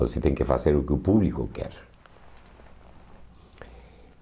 Você tem que fazer o que o público quer.